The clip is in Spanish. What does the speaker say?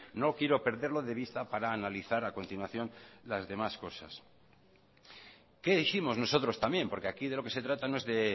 no quiero perderlo de vista para analizar a continuación las demás cosas qué dijimos nosotros también porque aquí de lo que se trata no es de